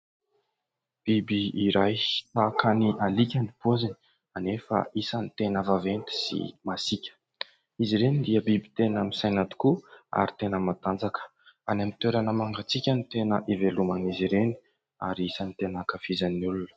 Biby iray tahaka ny alika ny paoziny anefa isany tena vaventy sy masika. Izy ireny dia biby tena misaina tokoa, ary tena matanjaka. Any amin'ny toerana mangantsika no tena iveloman'izy ireny, ary isany tena ankafizan'ny olona.